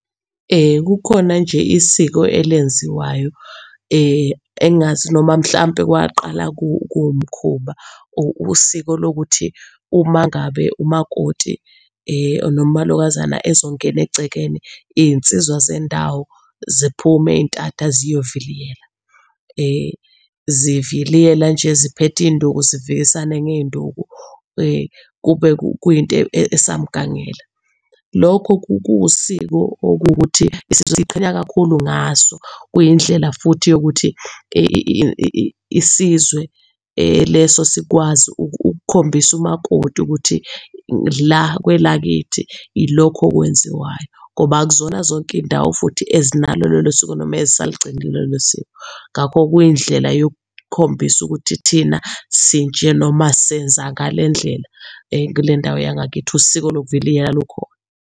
kukhona nje isiko elenziwayo engingazi noma mhlampe kwaqala kuwumkhuba, usizo lokuthi uma ngabe umakoti noma umalokazana ezongena egcekeni iy'nsizwa zendawo ziphume ey'ntatha ziyoviliyela. Ziviliyela nje ziphethe iy'nduku zivikisane ngey'nduku, kube kuyinto esamgangela. Lokho kuwusiko okuwukuthi isizwe siyiqhenya kakhulu ngaso, kuyindlela futhi yokuthi isizwe leso sikwazi ukukhombisa umakoti ukuthi la kwelakithi ilokhu okwenziwayo ngoba akuzona zonke iy'ndawo futhi ezinalo lolo siko noma ezisalugcinile lolo siko. Ngakho kuyindlela yokukhombisa ukuthi thina sinje, noma senza ngale ndlela, kule ndawo yangakithi, usiko lokuviliyela lukhona.